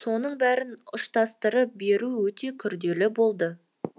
соның бәрін ұштастырып беру өте күрделі болды